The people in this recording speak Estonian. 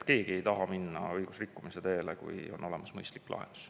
Keegi ei taha minna õigusrikkumise teele, kui on olemas mõistlik lahendus.